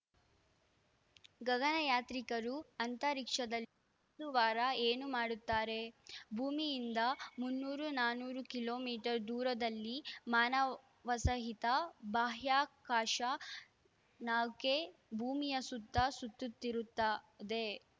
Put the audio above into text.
ಗಗನಯಾತ್ರಿಕರು ಅಂತರಿಕ್ಷದಲ್ಲಿ ಒಂದು ವಾರ ಏನು ಮಾಡುತ್ತಾರೆ ಭೂಮಿಯಿಂದ ಮುನ್ನೂರು ನಾನೂರು ಕಿಲೋ ಮೀಟರ್ ದೂರದಲ್ಲಿ ಮಾನವ ಸಹಿತ ಬಾಹ್ಯಾಕಾಶ ನೌಕೆ ಭೂಮಿಯ ಸುತ್ತ ಸುತ್ತು ತ್ತಿರುತ್ತದೆ